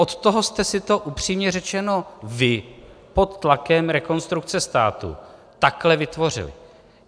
Od toho jste si to, upřímně řečeno, vy pod tlakem Rekonstrukce státu takhle vytvořili.